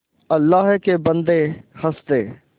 अल्लाह के बन्दे हंस दे